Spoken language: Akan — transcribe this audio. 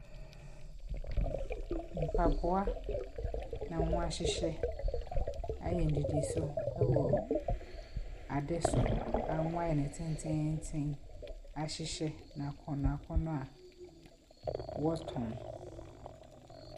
Mpaboa na wɔahyehyɛ. Ayɛ nnidiso wɔ ade so, a wɔayɛ no tenteenten ahyehyɛ no akɔnnɔakɔnnɔ a wɔretɔn.